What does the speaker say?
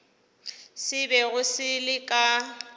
se bego se le ka